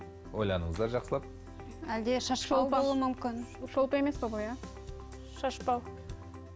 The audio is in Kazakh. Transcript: ойланыңыздар жақсылап шолпы емес пе шашбау